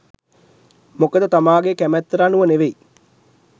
මොකද තමාගේ කැමැත්තට අනුව නෙවෙයි